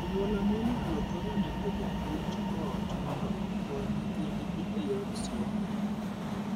Anyuola monyalo thoro ndiko japuonj ot mondo okony nyithindgi e yor somo.